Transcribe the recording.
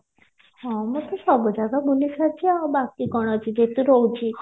ହଁ ମୁଁ ତ ସବୁ ଜାଗା ବୁଲି ସାରିଚି ଆଉ ବାକି କଣ ଅଛି ଯେହେତୁ ରହୁଚି